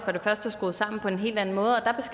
skruet sammen på en helt anden måde